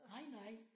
Nej nej